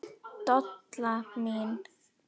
Dolla mín.